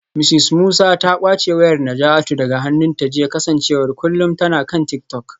Mrs Musa ta kwace wayar Najatu daga hannunta jiya kasancewar kullum tana kan tik-tok.